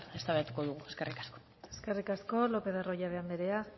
elkar eztabaidatuko dugu eskerrik asko eskerrik asko lópez de arroyabe andrea